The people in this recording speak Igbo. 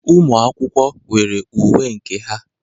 Ụmụ akwụkwọ nwere uwe nke ha.